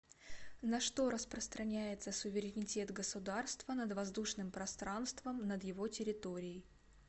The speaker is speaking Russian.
на что распространяется суверенитет государства над воздушным пространством над его территорией